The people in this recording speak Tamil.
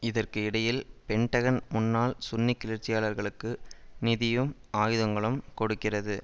இதற்கு இடையில் பென்டகன் முன்னாள் சுன்னி கிளர்ச்சியாளர்களுக்கு நிதியும் ஆயுதங்களும் கொடுக்கிறது